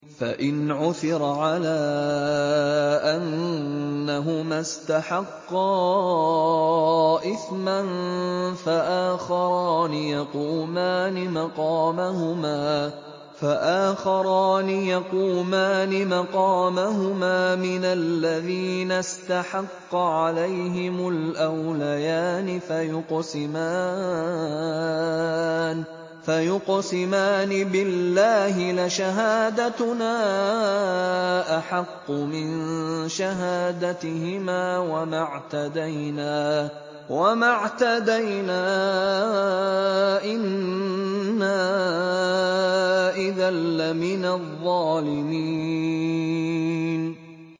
فَإِنْ عُثِرَ عَلَىٰ أَنَّهُمَا اسْتَحَقَّا إِثْمًا فَآخَرَانِ يَقُومَانِ مَقَامَهُمَا مِنَ الَّذِينَ اسْتَحَقَّ عَلَيْهِمُ الْأَوْلَيَانِ فَيُقْسِمَانِ بِاللَّهِ لَشَهَادَتُنَا أَحَقُّ مِن شَهَادَتِهِمَا وَمَا اعْتَدَيْنَا إِنَّا إِذًا لَّمِنَ الظَّالِمِينَ